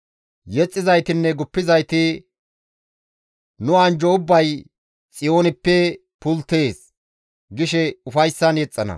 Yexxizaytinne guppizayti, «Nu anjjo ubbay Xiyoonippe pulttees» gishe ufayssan yexxana.